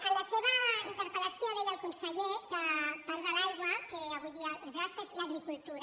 en la seva interpel·lació deia el conseller que part de l’aigua que avui dia es gasta és a l’agricultura